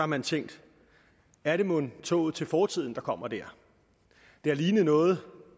man tænkt er det mon toget til fortiden der kommer der det har lignet noget